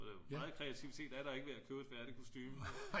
meget kreativitet er der ikke ved at købe et færdigt kostume